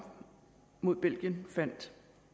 mod belgien faldt